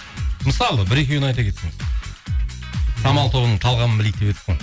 мысалы бір екеуін айта кетсеңіз самал тобының талғамын білейік деп едік қой